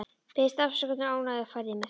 Baðst afsökunar á ónæðinu og færði mig.